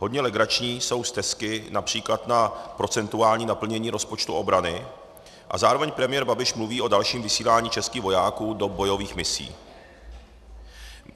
Hodně legrační jsou stesky například na procentuální naplnění rozpočtu obrany a zároveň premiér Babiš mluví o dalším vysílání českých vojáků do bojových misí.